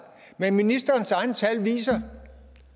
men ministerens egne tal viser